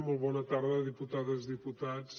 molt bona tarda diputades diputats